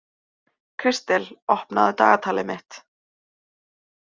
Kristel, opnaðu dagatalið mitt.